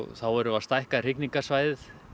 þá erum við að stækka hrygningarsvæðið